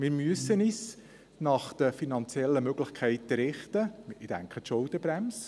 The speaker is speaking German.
Wir müssen uns nach den finanziellen Möglichkeiten richten – ich denke an die Schuldenbremse;